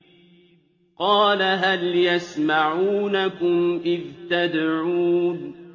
قَالَ هَلْ يَسْمَعُونَكُمْ إِذْ تَدْعُونَ